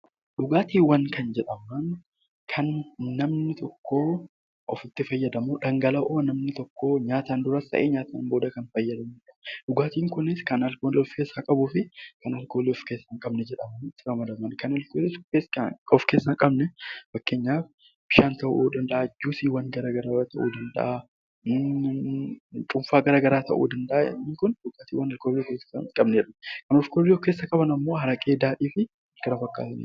Dhugaatiiwwan kan namni tokkoo ofitti fayyadamuudhaan, dhangala'oo namni tokko nyaataan duras ta'ee nyaataan isaan booda kan fayyadamanidha. Dhugaatiin kunis alkoolii kan of keessaa qabuu fi kan alkoolii of keessaa hin qabne jedhamuun ramadaman kan of keessaa hin qabne fakkeenyaaf bishaan ta'uu danda'a, juusiiwwan ta'uu danda'a, cuunfaa garaagaraa ta'uu danda'a, warreen alkoolii qaban immoo araqee, daadhii kan kana fakkaatanidha.